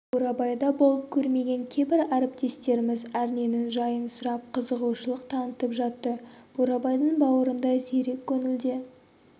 бурабайда болып көрмеген кейбір әріптестеріміз әрненің жайын сұрап қызығушылық танытып жатты бурабайдың бауырында зерек көңілде